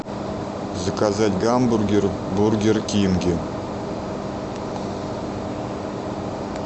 заказать гамбургер в бургер кинге